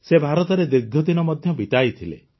ସେ ଭାରତରେ ଦୀର୍ଘଦିନ ମଧ୍ୟ ବିତାଇଥିଲେ